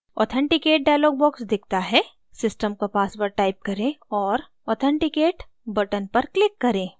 authenticate dialog box दिखता है system का password type करें और authenticate button पर click करें